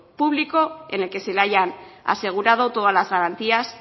público en el que se le hayan asegurado todas las garantías